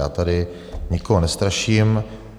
Já tady nikoho nestraším.